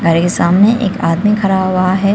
घर के सामने एक आदमी खड़ा हुआ है।